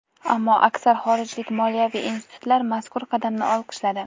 Ammo aksar xorijlik moliyaviy institutlar mazkur qadamni olqishladi.